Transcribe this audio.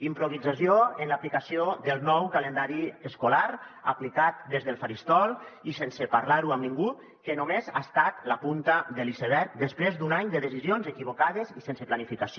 improvisació en l’aplicació del nou calendari escolar aplicat des del faristol i sense parlar ho amb ningú que només ha estat la punta de l’iceberg després d’un any de decisions equivocades i sense planificació